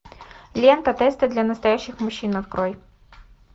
лента тесты для настоящих мужчин открой